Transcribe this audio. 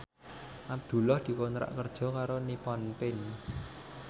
Abdullah dikontrak kerja karo Nippon Paint